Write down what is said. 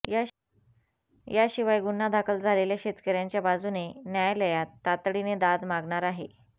याशिवाय गुन्हा दाखल झालेल्या शेतकऱ्यांच्या बाजूने न्यायालयात तातडीने दाद मागणार आहे